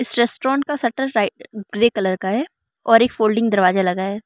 इस रेस्टोरेंट का शटर रा ग्रे कलर का है और एक फोल्डिंग दरवाजा लगा है।